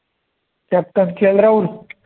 CaptainKL Rahul